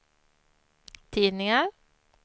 tidningar